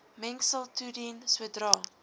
mengsel toedien sodra